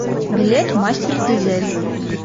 билет мастер дизель